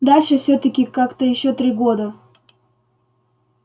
дальше всё-таки как-то ещё три года